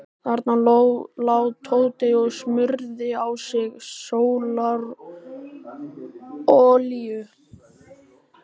Þarna lá Tóti og smurði á sig sólarolíu.